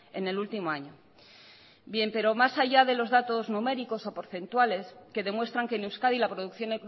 en el último año bien pero más allá de los datos numéricos o porcentuales que demuestran que en euskadi la producción